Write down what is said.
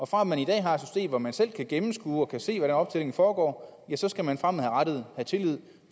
fra at man i dag har et system hvor man selv kan gennemskue og selv kan se hvordan optællingen foregår skal man fremadrettet have tillid